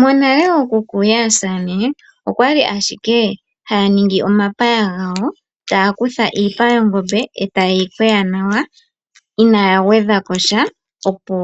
Monale ookuku yaasamane okwali ashike haya ningi omapaya gawo taya kutha iipa yongombe eta ye yi longo nawa inaya gwedhakosha opo